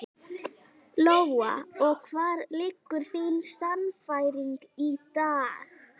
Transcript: Lóa: Og hvar liggur þín sannfæring í dag?